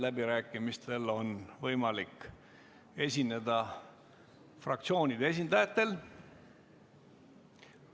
Läbirääkimistel on võimalik esineda fraktsioonide esindajatel.